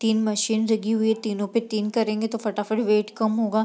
तीन मशीन लगी हुई है तीनों पे तीन करेंगे तो फटाफट कम होगा।